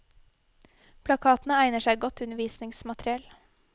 Plakatene egner seg godt til undervisningsmateriell.